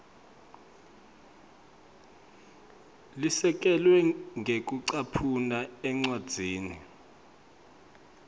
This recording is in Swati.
lesekelwe ngekucaphuna encwadzini